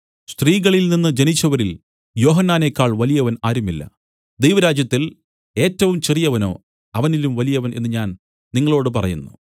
സ്ത്രീകളിൽ നിന്നു ജനിച്ചവരിൽ യോഹന്നാനേക്കാൾ വലിയവൻ ആരുമില്ല ദൈവരാജ്യത്തിൽ ഏറ്റവും ചെറിയവനോ അവനിലും വലിയവൻ എന്നു ഞാൻ നിങ്ങളോടു പറയുന്നു